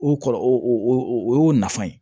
O kɔrɔ o o y'o nafa ye